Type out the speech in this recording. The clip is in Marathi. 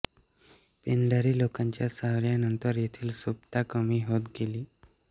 पेंढारी लोकांच्या स्वाऱ्यांनंतर येथील सुबत्ता कमी होत गेली